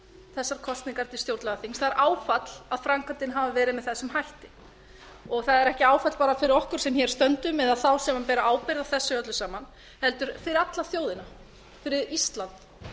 þessar kosningar til stjórnlagaþings það er áfall að framkvæmdin hafi verið með þessum hætti það er ekki bara áfall fyrir okkur sem hér stöndum eða þá sem bera ábyrgð á þessu öllu saman heldur fyrir alla þjóðina fyrir ísland